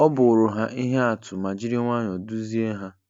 Ọ bụụrụ ha ihe atụ ma jiri nwayọọ duzie ha.